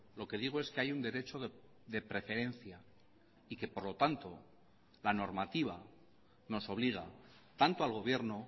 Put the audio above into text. lo que digo es que hay un derecho de preferencia y que por lo tanto la normativa nos obliga tanto al gobierno